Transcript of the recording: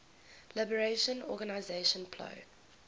liberation organization plo